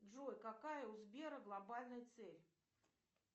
джой какая у сбера глобальная цель